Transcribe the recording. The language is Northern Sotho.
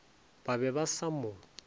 ba be ba sa mo